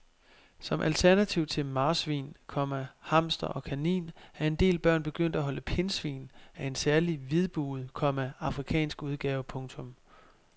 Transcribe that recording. Som alternativ til marsvin, komma hamster og kanin er en del børn begyndt at holde pindsvin af en særlig hvidbuget, komma afrikansk udgave. punktum